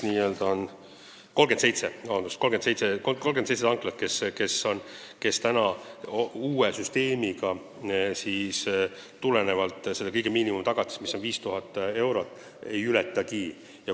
Nii, meil on 37 kütusemüüjat, kes uue süsteemi kohaselt miinimumtagatist, mis on 5000 eurot, ei ületagi.